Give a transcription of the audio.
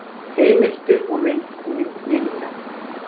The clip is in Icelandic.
Heimildir og mynd Ninja.